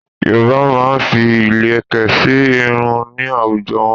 Yorùbá máa ń fi ilẹ̀kẹ̀ sí irun ní àwùjọ wọn.